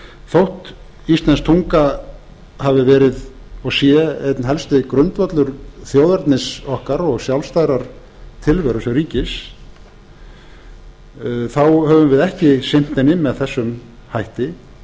þótt íslensk tunga hafi verið og sé einn helsti grundvöllur þjóðernis okkar og sjálfstæðrar tilveru sem ríkis höfum við ekki sinnt henni með þessum hætti